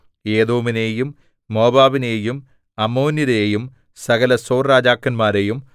ഏദോമിനെയും മോവാബിനെയും അമ്മോന്യരെയും സകല സോർ രാജാക്കന്മാരെയും